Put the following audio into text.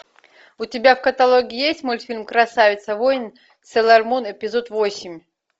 у тебя в каталоге есть мультфильм красавица воин сейлормун эпизод восемь